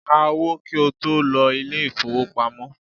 Ká owó kí o tó lọ ilé ìfowópamọ́!